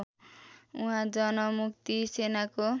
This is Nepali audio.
उहाँ जनमुक्ति सेनाको